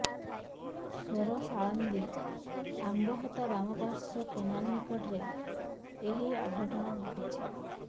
ସୋର ସାଳନ୍ଦୀ ଆମ୍ବହୋତା ବାମପାର୍ଶ୍ୱ କେନାଲ ନିକଟରେ ଏହି ଅଘଟଣ ଘଟିଛି